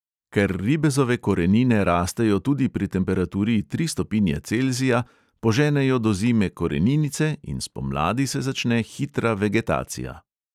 Ker ribezove korenine rastejo tudi pri temperaturi tri stopinje celzija, poženejo do zime koreninice in spomladi se začne hitra vegetacija.